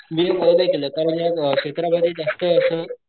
मी नवोदय केलं का म्हणजे त्या क्षेत्र मध्ये जास्त असं.